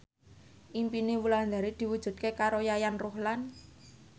impine Wulandari diwujudke karo Yayan Ruhlan